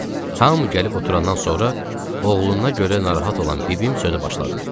Nəhayət, hamı gəlib oturandan sonra oğluna görə narahat olan bibim sözə başladı.